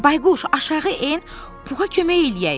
Bayquş aşağı en, Puxa kömək eləyək.